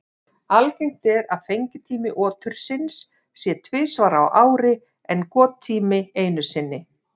Algengt er að fengitími otursins sé tvisvar á ári en gottími einu sinni.